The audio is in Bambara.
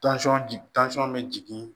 bɛ jigin